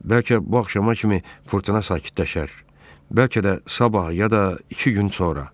Bəlkə bu axşama kimi fırtına sakitləşər, bəlkə də sabah ya da iki gün sonra.